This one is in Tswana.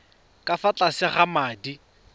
ka fa tlase ga madi